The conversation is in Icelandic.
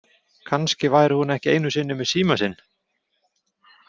Kannski væri hún ekki einu sinni með símann sinn.